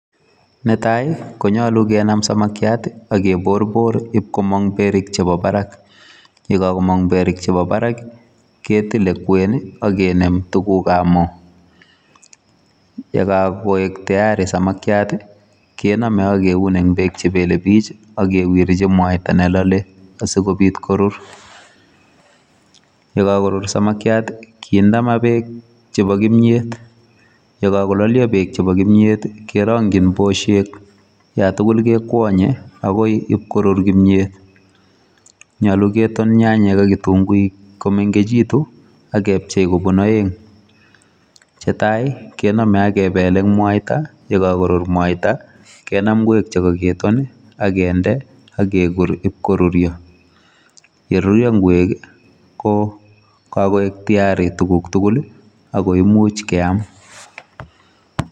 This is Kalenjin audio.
Netai konyaluu kenam samakiat ii ak keborbor in komaang beriik chebo Barak ye kakomaang beriik chebo baraak ii ketile kweeny ak kinem tuguuk ab Moog ye koek tayari samakiat ii kename ak kiuun en beek che belelebiik ak kewirjiin mwaita ne lale asikobiit korur ye kakorur samakiat ii kindee maa beek chebo kimyeet ye kagolalia beek chebo kimyeet ii kerangyiin busheek yaan tuguul kekwanye agoi IP korur kimyeet nyaluu keton nyanyek ak kitunguuik komekekituun ak kepchei kobuun aeng che tai ii kename ak kebeleen mwaita ye karar mwaita kenan ngweek che kageton ak kinde ak keguur ib koruria ye rurya ngweek ko ka koek tayari tuguuk tugul ii ako imuuch keyaam.